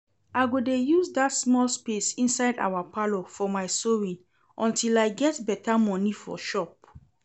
I go dey use dat small space inside our parlour for my sewing until I get better money for shop